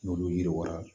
N'olu yiriwala